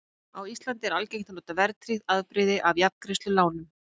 Á Íslandi er algengt að nota verðtryggt afbrigði af jafngreiðslulánum.